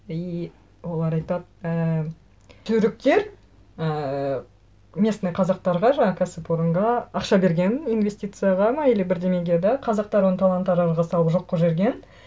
и олар айтады ііі түріктер ііі местный қазақтарға жаңа кәсіпорынға ақша берген инвестицияға ма или бірдеңеге да қазақтар оны талан таражға салып жоқ қылып жіберген